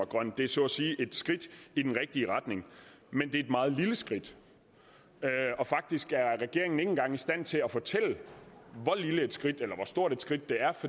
grøn det er så at sige et skridt i den rigtige retning men det er et meget lille skridt faktisk er regeringen ikke engang i stand til at fortælle hvor lille et skridt eller hvor stort et skridt det er